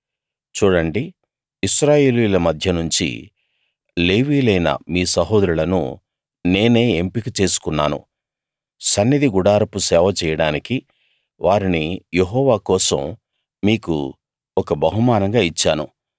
చూడండి ఇశ్రాయేలీయుల మధ్య నుంచి లేవీయులైన మీ సహోదరులను నేనే ఎంపిక చేసుకున్నాను సన్నిధి గుడారపు సేవ చెయ్యడానికి వారిని యెహోవా కోసం మీకు ఒక బహుమానంగా ఇచ్చాను